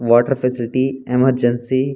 water facility emergency --